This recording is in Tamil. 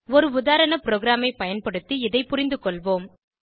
ஒரு உதாரண ப்ரோகிராமை பயன்படுத்தி இதை புரிந்துகொள்வோம்